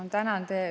Ma tänan!